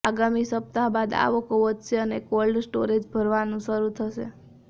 આગામી સપ્તાહ બાદ આવકો વધશે અને કોલ્ડ સ્ટોરેજ ભરાવાનું શરૂ થશે